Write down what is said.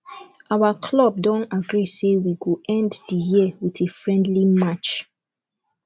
our club don agree say we go end the year with a friendly match